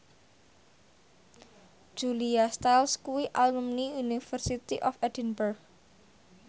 Julia Stiles kuwi alumni University of Edinburgh